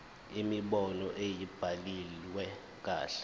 imibono ayibhaliwe kahle